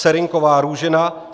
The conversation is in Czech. Serynková Růžena